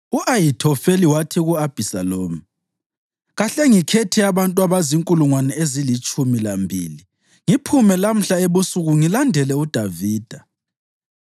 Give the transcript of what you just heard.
U-Ahithofeli wathi ku-Abhisalomu, “Kahle ngikhethe abantu abazinkulungwane ezilitshumi lambili ngiphume lamhla ebusuku ngilandela uDavida.